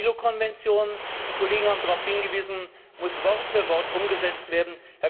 Die IAO Konvention die Kollegen haben darauf hingewiesen muss Wort für Wort umgesetzt werden.